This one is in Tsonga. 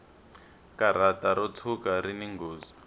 karata ro tshuka rini nghozi